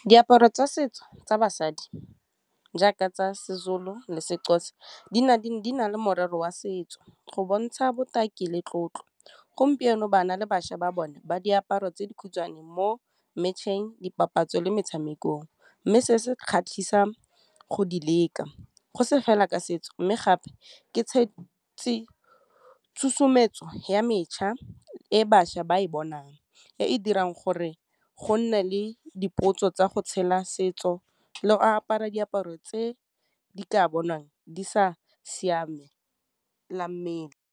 Diaparo tsa setso tsa basadi jaaka tsa seZulu le seXhosa di na le morero wa setso go bontsha botaki le tlotlo. Gompieno bana le bašwa ba bone ba diaparo tse di khutshwane mo match-eng, dipapatso, le metshamekong, mme se se kgatlhisang go di leka, go se fela ka setso, mme gape ke tshosometso ya mešha e bašwa ba e bonang e e dirang gore re go nne le dipotso tsa go tshela setso le apara diaparo tse di ka bonwang di sa .